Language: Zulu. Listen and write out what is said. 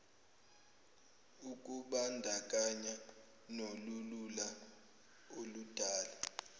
ukubandakanya nolulula okudala